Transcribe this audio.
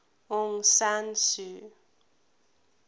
aung san suu